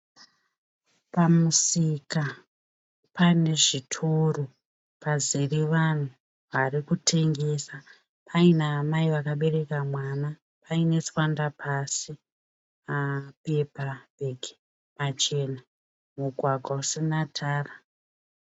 Pamusika pane zvitoro pazere vanhu varikutengesa paina amai vakabereka mwana paine tswanda pasi, mapepa bhegi machena, mugwagwa usina tara.